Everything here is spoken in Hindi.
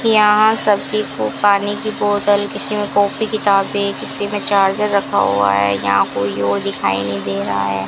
यहां सब्जी को पानी की बोतल किसी कॉपी किताबें किसी में चार्जर रखा हुआ है यहां कोई और दिखाई नहीं दे रहा है।